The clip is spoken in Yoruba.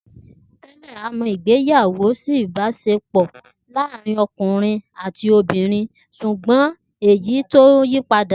Tè̩lé̩, a mo̩ ìgbéyàwó sí ìbás̩epò láàárín o̩kùnrin àti obìnrin s̩ùgbó̩n èyí ti ń yí padà